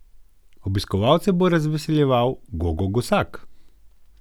Obiskovalce bo razveseljeval Gogo Gosak.